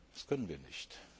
Das können wir